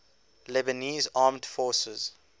lebanese armed forces